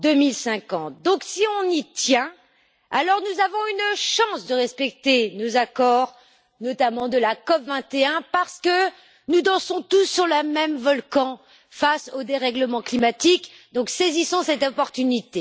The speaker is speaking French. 2050. Donc, si on y tient, alors nous avons une chance de respecter nos accords, notamment de la COP 21, parce que nous dansons tous sur le même volcan face aux dérèglements climatiques, donc saisissons cette opportunité.